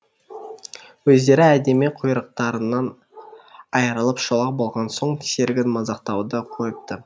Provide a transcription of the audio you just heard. өздері әдемі құйрықтарынан айырылып шолақ болған соң серігін мазақтауды қойыпты